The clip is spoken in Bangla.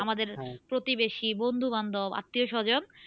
আমাদের প্রতিবেশী বন্ধু বান্ধব আত্মীয়স্বজন